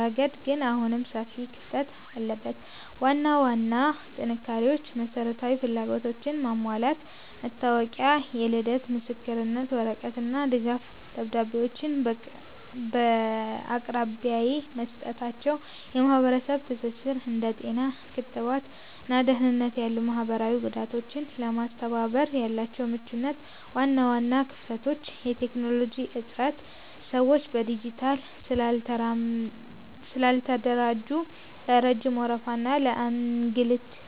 ረገድ ግን አሁንም ሰፊ ክፍተት አለበት። ዋና ዋና ጥንካሬዎች መሰረታዊ ፍላጎቶችን ማሟላት፦ መታወቂያ፣ የልደት ምስክር ወረቀት እና ድጋፍ ደብዳቤዎችን በአቅራቢያ መስጠታቸው። የማህበረሰብ ትስስር፦ እንደ ጤና (ክትባት) እና ደህንነት ያሉ ማህበራዊ ጉዳዮችን ለማስተባበር ያላቸው ምቹነት። ዋና ዋና ክፍተቶች የቴክኖሎጂ እጥረት፦ ስራዎች በዲጂታል ስላልተደራጁ ለረጅም ወረፋ እና ለእንግልት